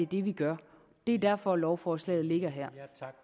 det vi gør det er derfor at lovforslaget ligger her